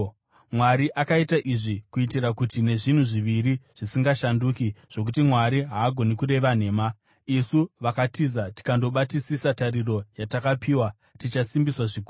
Mwari akaita izvi kuitira kuti, nezvinhu zviviri zvisingashanduki, zvokuti Mwari haagoni kureva nhema, isu vakatiza tikandobatisisa tariro yatakapiwa, tichasimbiswa zvikuru.